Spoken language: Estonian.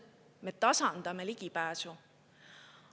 Me tasandame ligipääsu.